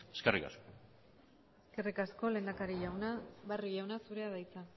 eskerrik asko eskerrik asko lehendakari jauna barrio jauna zurea da hitza